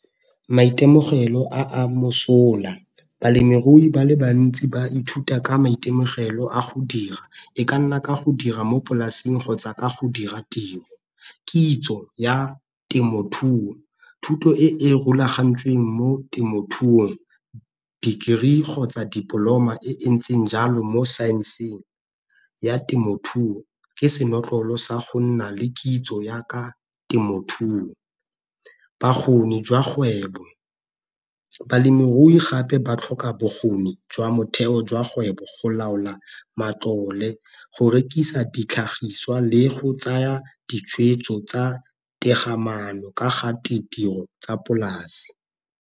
Maitemogelo a a mosola balemirui ba le bantsi ba ithuta ka maitemogelo a go dira e ka nna ka go dira mo polasing kgotsa ka go dira tiro. Kitso ya temothuo, thuto e e rulagantsweng mo temothuong Degree kgotsa Diploma e ntseng jalo mo saenseng ya temothuo ke senotlolo sa go nna le kitso jaaka temothuo. ba kgwebo balemirui gape ba tlhoka bokgoni jwa motheo jwa kgweba go laola matlole go rekisa ditlhagiswa le go tsaya ditshwetso tsa maano ka ga tiro tsa polase.